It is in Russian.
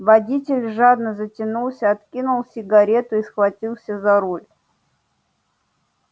водитель жадно затянулся откинул сигарету и схватился за руль